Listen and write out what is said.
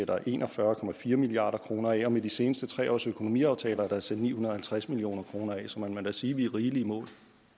der en og fyrre milliard kroner af og med de seneste tre års økonomiaftaler er der sat ni hundrede og halvtreds million kroner af så man må da sige at vi er rigelig i mål